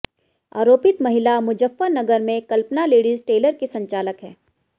आरोपित महिला मुजफ्फरनगर में कल्पना लेडीज टेलर की संचालक है